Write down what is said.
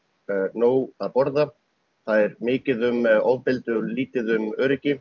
nóg að borða það er mikið um ofbeldi og lítið um öryggi